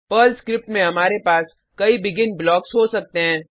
Perl script में हमारे पास कई बेगिन ब्लॉक्स हो सकते हैं